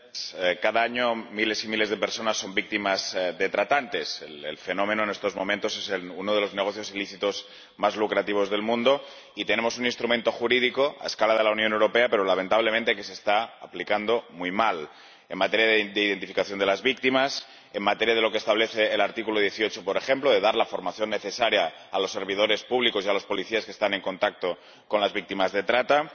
Señor Presidente, cada año miles y miles de personas son víctimas de tratantes. El fenómeno en estos momentos es uno de los negocios ilícitos más lucrativos del mundo y tenemos un instrumento jurídico a escala de la Unión Europea, pero que lamentablemente se está aplicando muy mal en materia de identificación de las víctimas, en materia de lo que establece el artículo 18, por ejemplo, de dar la formación necesaria a los servidores públicos y a los policías que están en contacto con las víctimas de trata